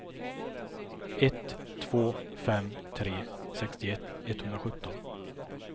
ett två fem tre sextioett etthundrasjutton